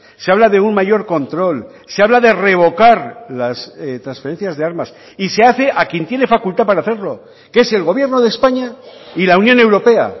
se habla de un mayor control se habla de revocar las transferencias de armas y se hace a quien tiene facultad para hacerlo que es el gobierno de españa y la unión europea